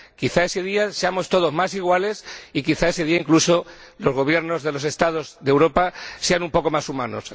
Quizá ese día seamos todos más iguales y quizá ese día, incluso, los Gobiernos de los Estados de Europa sean un poco más humanos.